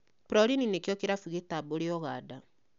Prolini nĩkio kĩrabu nĩkĩo kĩrabu gĩtambũre Ũganda